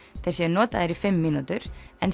þeir séu notaðir í fimm mínútur en